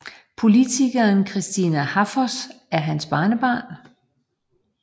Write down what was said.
Politikeren Kristina Háfoss er hans barnebarn